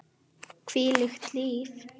Hvílíkt líf!